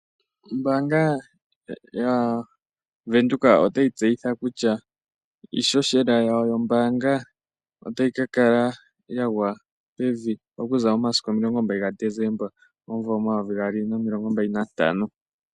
Ombaanga yaVenduka otayi tseyitha kutya iihohela yawo yombaanga otayi ka kala ya gwa pevi okuza momasiku omilongo mbali nomugoyi gaDesemba, omumvo omayovi gaali nomilongo mbali nantano.